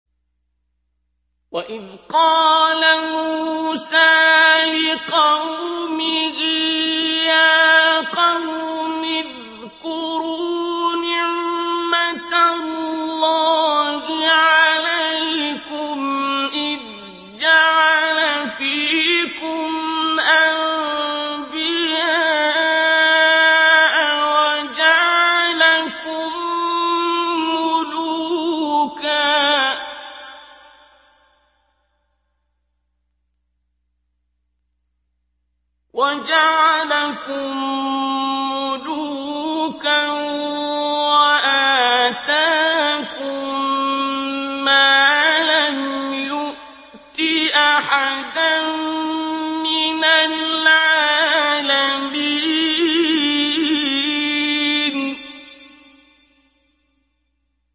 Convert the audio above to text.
وَإِذْ قَالَ مُوسَىٰ لِقَوْمِهِ يَا قَوْمِ اذْكُرُوا نِعْمَةَ اللَّهِ عَلَيْكُمْ إِذْ جَعَلَ فِيكُمْ أَنبِيَاءَ وَجَعَلَكُم مُّلُوكًا وَآتَاكُم مَّا لَمْ يُؤْتِ أَحَدًا مِّنَ الْعَالَمِينَ